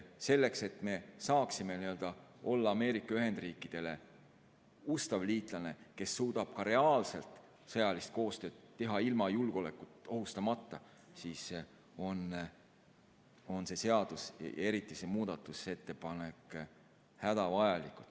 Selleks, et me saaksime olla Ameerika Ühendriikidele ustav liitlane, kes suudab ka reaalselt sõjalist koostööd teha ilma julgeolekut ohustamata, on see seadus, eriti see muudatusettepanek, hädavajalik.